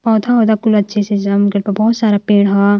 पौधा औधा कुल अच्छे से जाम गइल बा बहुत सारा पेड़ ह।